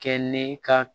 Kɛ ne ka